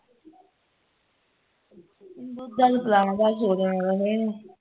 ਇਹਨੂੰ ਦੁੱਧ ਦਧ ਪਿਲਾਣਾ ਤਾ ਸੋ ਜਾਣਾ ਤਾ ਫੇਰ ਇਹਨੇ